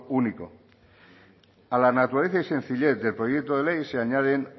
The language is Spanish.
único a la naturaleza y sencillez del proyecto de ley se añaden